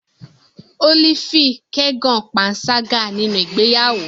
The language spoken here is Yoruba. Olivia kẹgan panṣaga ninu igbeyawo